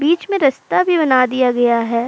बीच में रस्ता भी बना दिया गया है।